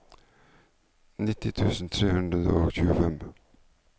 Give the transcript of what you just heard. nitti tusen tre hundre og tjuefem